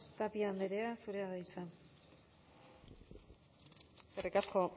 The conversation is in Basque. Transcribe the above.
tapia andrea zurea da hitza eskerrik asko